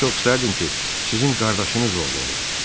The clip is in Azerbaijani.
Çox istərdim ki, sizin qardaşınız oğlu olum.